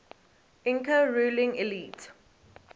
inca ruling elite